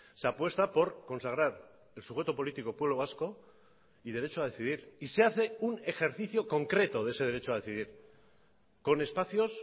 se apuesta por consagrar el sujeto político pueblo vasco y derecho a decidir y se hace un ejercicio concreto de ese derecho a decidir con espacios